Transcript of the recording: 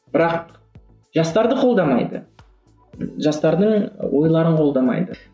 бірақ жастарды қолдамайды жастардың ойларын қолдамайды